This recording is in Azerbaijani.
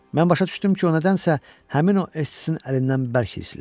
Mən başa düşdüm ki, o nədənsə həmin o Essinin əlindən bərk hirslidir.